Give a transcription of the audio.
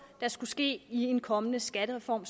der skal ske i en kommende skattereform